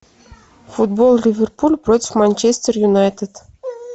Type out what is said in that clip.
футбол ливерпуль против манчестер юнайтед